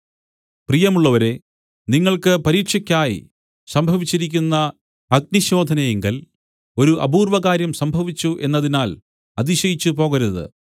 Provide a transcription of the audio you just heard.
പ്രിയമുള്ളവരേ നിങ്ങൾക്ക് പരീക്ഷയ്ക്കായി സംഭവിച്ചിരിക്കുന്ന അഗ്നിശോധനയിങ്കൽ ഒരു അപൂർവകാര്യം സംഭവിച്ചു എന്നതിനാൽ അതിശയിച്ചുപോകരുത്